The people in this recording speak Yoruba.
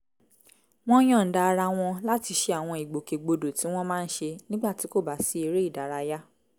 wọ́n yọ̀ǹda ara wọn láti ṣe àwọn ìgbòkègbodò tí wọ́n máa ń ṣe nígbà tí kò bá sí eré ìdárayá